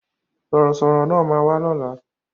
Sọ̀rọ̀ sọ̀rọ̀ náà ma wá lóla